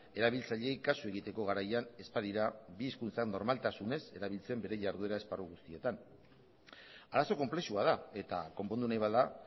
erabiltzaileei kasu egiteko garaian ez badira bi hizkuntzan normaltasunez erabiltzen bere jarduera esparru guztietan arazo konplexua da eta konpondu nahi bada